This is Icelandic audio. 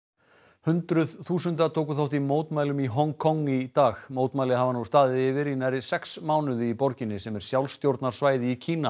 hundruð þúsunda tóku þátt í mótmælum í Hong Kong í dag mótmæli hafa nú staðið yfir í nærri sex mánuði í borginni sem er sjálfstjórnarsvæði í Kína